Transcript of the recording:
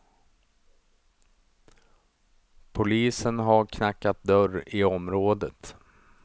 Polisen har knackat dörr i området.